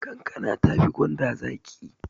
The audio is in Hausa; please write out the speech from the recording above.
Kankana tafi gwanda zaƙi